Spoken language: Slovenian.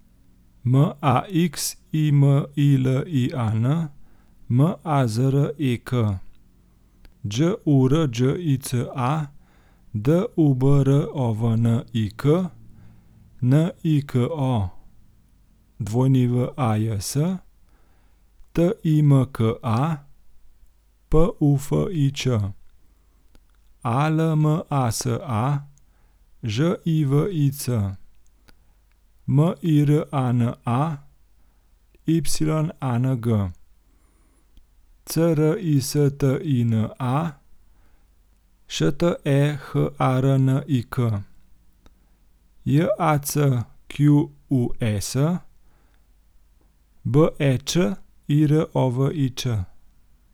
Maximilian Mazrek, Đurđica Dubrovnik, Niko Wajs, Timka Pufič, Almasa Živic, Mirana Yang, Cristina Šteharnik, Jacques Bećirović.